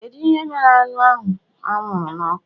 Kedu ihe mere anụ ahụ anwụrụ n'ọkụ?